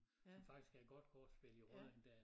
Som faktisk er et godt kortspil i Rødding dér